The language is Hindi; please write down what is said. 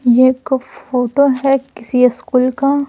ये एक फोटो है किसी स्कूल का--